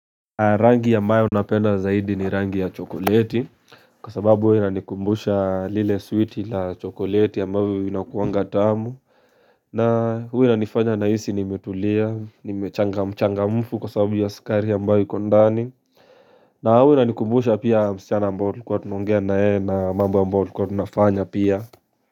Rangi ambayo napenda zaidi ni rangi ya chokoleti Kwa sababu hua inanikumbusha lile switi la chokoleti ambavyo vinakuwanga tamu na hua inanifanya nahisi nimetulia, nimechanga, mchangamfu kwa sababu ya sukari ambayo iko ndani na hua inanikumbusha pia msichana ambao tulikua tunongea na yeye na mambo ambayo tulikua tunafanya pia.